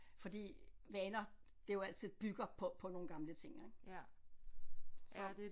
Fordi vaner det jo altid bygger på på nogle gamle ting ik så